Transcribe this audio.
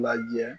Lajɛ